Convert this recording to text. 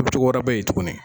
wɛrɛ be yen tuguni.